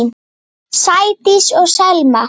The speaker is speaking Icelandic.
Sædís og Selma.